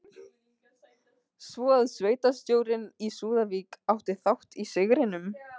Svo að sveitarstjórinn í Súðavík átti þátt í sigrinum?